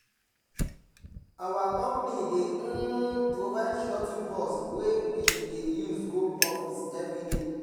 our company dey um provide shuttle bus wey we dey use go office every day